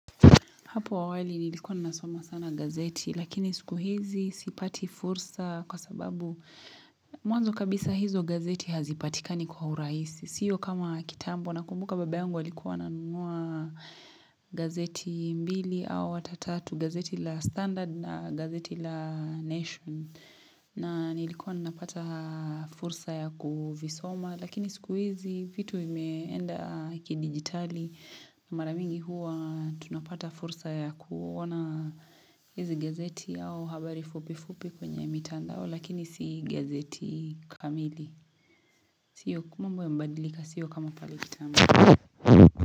Hapo awali nilikuwa ninasoma sana gazeti lakini siku hizi sipati fursa kwa sababu mwanzo kabisa hizo gazeti hazipatikani kwa urahisi. Sio kama kitambo nakumbuka baba yangu alikuwa ananunua gazeti mbili au hata tatu gazeti la standard na gazeti la nation. Na nilikuwa ninapata fursa ya kuvisoma lakini siku hizi vitu vimeenda kidigitali na mara mingi huwa tunapata fursa ya kuona hizi gazeti au habari fupi fupi kwenye mitandao lakini si gazeti kamili. Sio mambo yamebadilika sio kama pale kitambo.